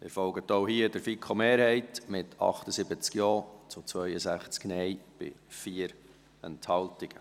Sie folgen auch hier der FiKo-Mehrheit, mit 78 Ja- zu 62 Nein-Stimmen bei 4 Enthaltungen.